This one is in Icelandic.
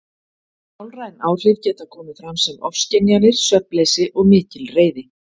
Sálræn áhrif geta komið fram sem ofskynjanir, svefnleysi og mikil reiði.